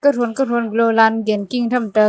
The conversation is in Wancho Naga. kauthon kauthon galo line gen king tham ta.